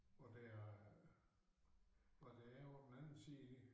Og der er og der er på den anden side